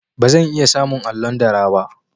Ba zan iya samun allon dara ba.